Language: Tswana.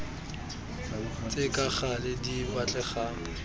tse ka gale di batlegang